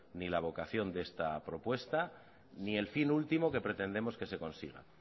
ni la vocación de esta propuesta ni el fin último que pretendemos que se consiga